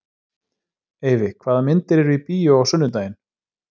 Eyfi, hvaða myndir eru í bíó á sunnudaginn?